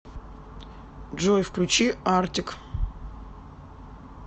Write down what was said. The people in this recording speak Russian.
джой включи артик